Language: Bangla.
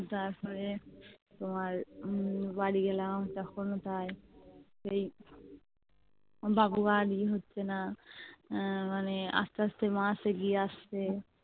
তারপরে তোমার উম বাড়ি গেলাম তখন ও প্রায় সেই বাবু আর ইয়ে হচ্ছেনা আহ মানে আস্তে আস্তে মাস এগিয়ে আসছে